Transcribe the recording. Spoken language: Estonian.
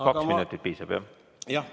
Kahest minutist piisab?